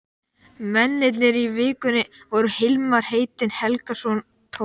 Mennirnir í Vikunni voru Hilmar heitinn Helgason, Tómas